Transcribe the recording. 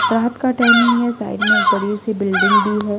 रात का टाइमिंग है साइड में एक बड़ी सी बिल्डिंग भी है।